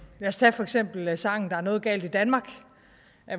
os tage for eksempel sangen der er noget galt i danmark